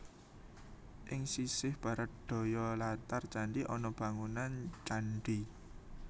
Ing sisih Barat Daya latar candhi ana bangunan candhi